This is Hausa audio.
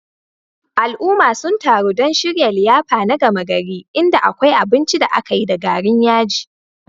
Al'ummar sun taru don shirya liyafa na gama gari, inda akwai binci da aka yi da garin yaji.